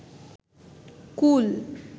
কুল